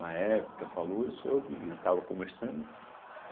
Na época falou, eu soube e estava conversando.